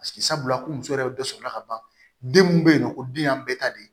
sabula ko muso yɛrɛ bɛ dɔ sɔrɔ ka ban den mun bɛ yen ko den y'an bɛɛ ta de ye